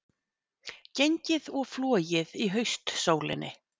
Gengið og flogið í haustsólinni